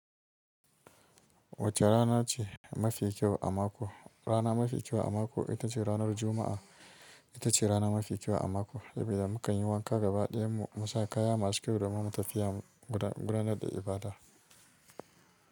Wace rana ce mafi kyau a mako? Rana mafi kyau a mako ita ce ranar Juma'a. Ita ce rana mafi kyau a mako, saboda mu kan yi wanka gaba ɗayan mu, mu saka kaya masu kyau domin mu tafiya gudanar da ibada.